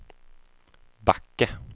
Backe